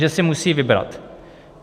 Takže si musí vybrat.